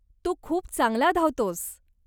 तू खूप चांगला धावतोस.